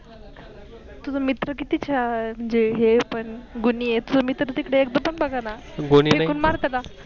तुझ मित्र कित छान म्हनजे हे पन गुनीये तुझ मित्र तिकडे एकदम बगना फेकून मार त्याला.